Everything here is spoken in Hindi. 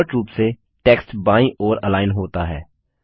डिफॉल्ट रूप से टेक्स्ट बायीं ओर अलाइन होता है